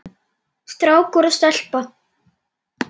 Strákur og stelpa.